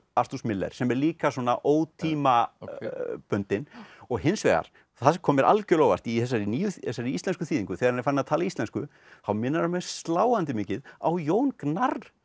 Arthurs Miller sem er líka svona ótímabundin og hins vegar það sem kom mér algjörlega á óvart í þessari þessari íslensku þýðingu þegar hann er farinn að tala íslensku þá minnir hann mig sláandi mikið á Jón Gnarr